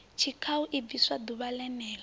tshikhau i bviswa ḓuvha ḽene